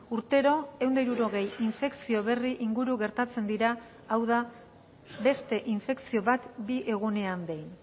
urtero ehun eta hirurogei infekzio berri inguru gertatzen dira hau da beste infekzio bat bi egunean behin